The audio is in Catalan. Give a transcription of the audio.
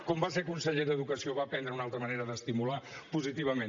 quan va ser conseller d’educació va aprendre una altra manera d’estimular positivament